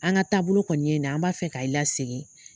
An ka taabolo kɔni ye ni ye, an b'a fɛ ka i la segin